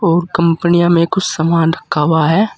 और कंपनियों में कुछ सामान रखा हुआ है।